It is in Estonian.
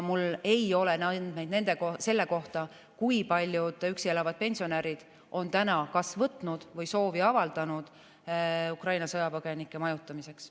Mul ei ole andmeid selle kohta, kui paljud üksi elavad pensionärid on täna kas võtnud Ukraina sõjapõgenikke või soovi avaldanud nende majutamiseks.